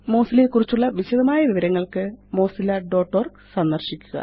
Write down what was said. Mozilla യെക്കുറിച്ചുള്ള വിശദമായ വിവരങ്ങള്ക്ക് mozillaഓർഗ് സന്ദര്ശിക്കുക